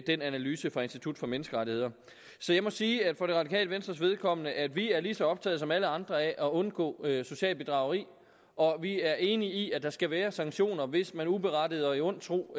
den analyse fra institut for menneskerettigheder så jeg må sige for det radikale venstres vedkommende at vi er lige så optaget som alle andre af at undgå socialt bedrageri og vi er enige i at der skal være sanktioner hvis man uberettiget og i ond tro